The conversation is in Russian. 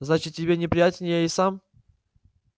значит тебе неприятен я и сам